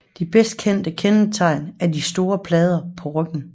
Det bedst kendte kendetegn er de store plader på ryggen